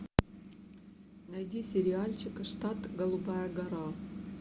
найди сериальчик штат голубая гора